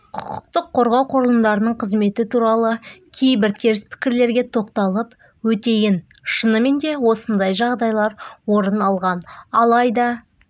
құқыққорғау құрылымдарының қызметі туралы кейбір теріс пікірлерге тоқталып өтейін шынымен де осындай жағдайлар орын алған алайда